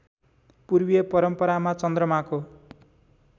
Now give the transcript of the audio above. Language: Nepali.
पूर्वीय परम्परामा चन्द्रमाको